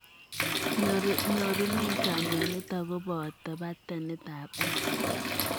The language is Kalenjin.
Nyoruneet ap mionitok ko potoo patanit ap X